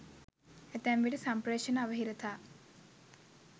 ඇතැම්විට සම්පේ්‍රෂණ අවහිරතා